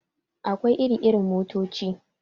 Akwai iri irin motoci.